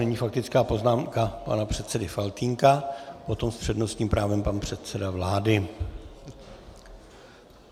Nyní faktická poznámka pana předsedy Faltýnka, potom s přednostním právem pan předseda vlády.